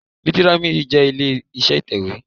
Lítírámídì jẹ́ ilé iṣẹ́ ìtẹ̀wé